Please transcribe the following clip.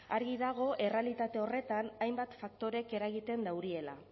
argi dago errealitate horretan hainbat faktorek eragiten dauriela